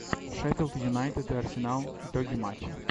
шеффилд юнайтед и арсенал итоги матча